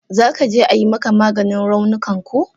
Za ka je ayi maka maganin raunukan ko?